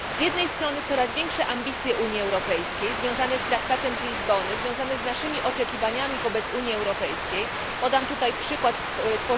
Z jednej strony coraz większe ambicje Unii Europejskiej związane z traktem z Lizbony i z naszymi oczekiwaniami wobec Unii Europejskiej, np.